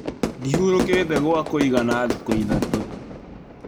Ndĩhũrũkĩte gwa kũigana thikũ ithatũ.